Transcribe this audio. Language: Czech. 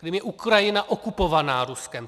Krym je Ukrajina okupovaná Ruskem.